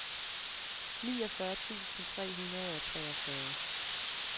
niogfyrre tusind tre hundrede og treogfyrre